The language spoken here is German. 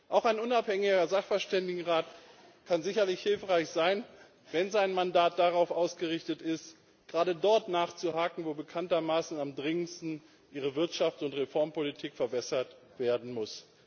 Auch ein unabhängiger Sachverständigenrat kann sicherlich hilfreich sein, wenn sein Mandat darauf ausgerichtet ist, gerade dort nachzuhaken, wo bekanntermaßen am dringendsten die Wirtschafts und Reformpolitik verbessert werden muss.